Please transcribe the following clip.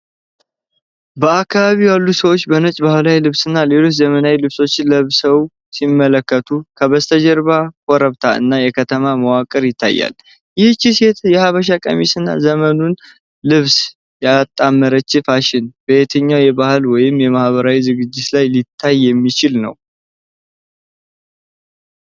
በአካባቢው ያሉ ሰዎች በነጭ ባህላዊ ልብስና ሌሎች ዘመናዊ ልብሶችን ለብሰው ሲመለከቱ፣ ከበስተጀርባ ኮረብታ እና የከተማ መዋቅር ይታያል። ይህቺ ሴት የሐበሻ ቀሚስና የዘመኑን ልብስ ያጣመረችበት ፋሽን፣ በየትኛው የባህል ወይም የማኅበራዊ ዝግጅት ላይ ሊታይ የሚችል ነው?